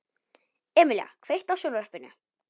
Emelía, kveiktu á sjónvarpinu.